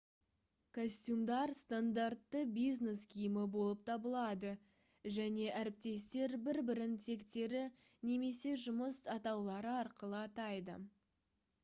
костюмдар стандартты бизнес киімі болып табылады және әріптестер бір бірін тектері немесе жұмыс атаулары арқылы атайды